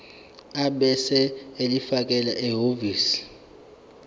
ebese ulifakela ehhovisi